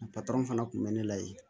fana kun bɛ ne la yen